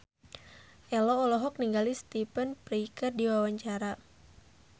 Ello olohok ningali Stephen Fry keur diwawancara